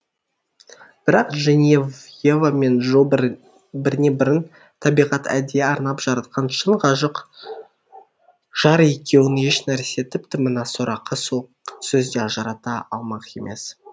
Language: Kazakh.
бірақ дженевьева мен джо біріне бірін табиғат әдейі арнап жаратқан шын ғашық жар екеуін ешнәрсе тіпті мына сорақы суық сөз де ажырата алмақ емес